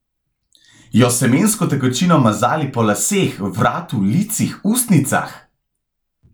Jo s semensko tekočino mazali po laseh, vratu, licih, ustnicah?